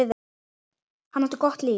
Hann átti gott líf.